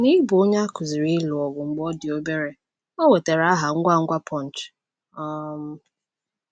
N'ịbụ onye a kụziiri ịlụ ọgụ mgbe ọ dị obere, ọ nwetara aha ngwa ngwa Punch. um